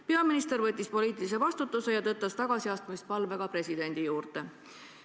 Peaminister võttis poliitilise vastutuse ja tõttas tagasiastumispalvega presidendi juurde.